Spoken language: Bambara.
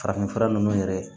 Farafinfura ninnu yɛrɛ ye